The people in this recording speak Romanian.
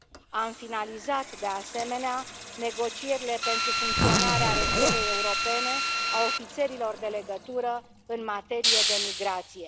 Am finalizat, de asemenea, negocierile pentru funcționarea rețelei europene a ofițerilor de legătură în materie de migrație.